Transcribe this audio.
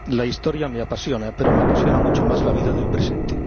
La historia me apasiona, pero me apasiona mucho más la vida del presente.